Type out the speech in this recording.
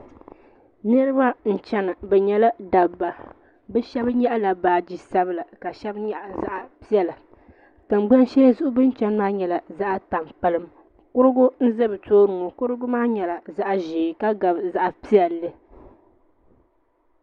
Niraba n chana bi nyɛla dabba bi shab nyaɣala baaji sabila ka shab nyaɣa zaɣ piɛla tingbani shɛli zuɣu bin chɛni maa nyɛla zaɣ tampilim kurugu n ʒɛ bi tooni ŋo karigu maa nyɛla zaɣ ƶiɛ ka gabi zaɣ piɛlli